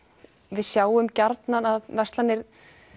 við sjáum gjarnan að verslanir